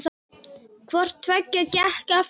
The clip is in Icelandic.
Hvort tveggja gekk eftir.